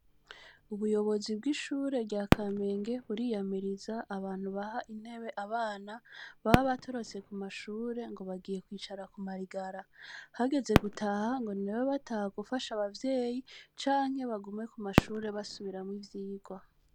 Ubuyobozi bw’ishure rya Kamenge buriyamiriza abantu baha intebe abana baba batorotse kuma shure ngo bagiye kwicara kuma rigara, hageze gutaha ngo ni babe bataha gufasha abavyeyi canke bagume kumashure basubiramwo ivyigwa.